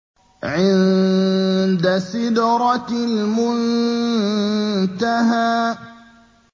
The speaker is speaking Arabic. عِندَ سِدْرَةِ الْمُنتَهَىٰ